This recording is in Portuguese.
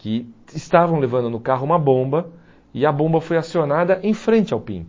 que estavam levando no carro uma bomba e a bomba foi acionada em frente ao